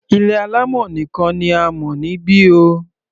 Ilé alámọ̀ nìkan ni a mọ̀ níbi o.